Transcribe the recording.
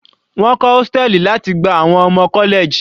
Wọ́n kọ́ hóstẹ̀lì láti gba àwọn ọmọ college.